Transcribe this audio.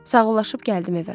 Sağollaşıb gəldim evə.